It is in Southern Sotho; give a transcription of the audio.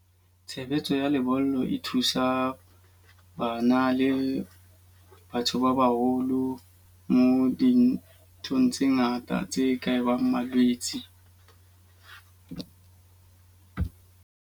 Tshebetso ya lebollo e thusa bana le batho ba baholo mo dinthong tse ngata tse ka bang malwetse.